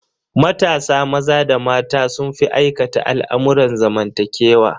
Matasa maza da mata sun fi aikata al'amurran zamantakewa.